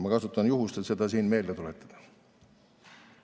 Ma kasutan juhust, et seda siin meelde tuletada.